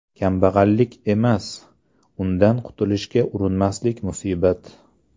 Kambag‘allik emas, undan qutilishga urinmaslik musibat.